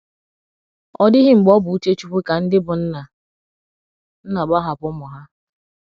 Ọ dịghị mgbe ọ bụ uche Chukwu ka ndị bụ́ nna nna gbahapụ ụmụ ha.